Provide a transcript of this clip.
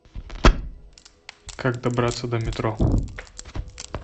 как добраться до метро